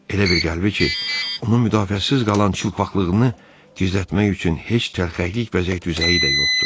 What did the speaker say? Elə bir qəlbi ki, onu müdafiəsiz qalan çılpaqlığını gizlətmək üçün heç tərkəklik, vəzək düzəyi də yoxdur.